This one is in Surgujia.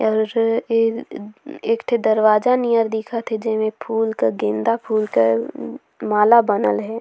और एक ठे दरवाजा नियर दिखत हे जेमे फूल का गेंदा फूल क माला बनल हे।